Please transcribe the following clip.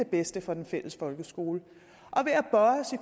bedste for den fælles folkeskole